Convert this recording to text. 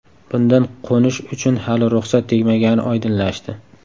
Bundan qo‘nish uchun hali ruxsat tegmagani oydinlashdi.